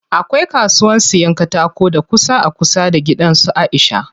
Akwai kasuwan siyan katako da ƙusa a kusa da gidan su Aisha.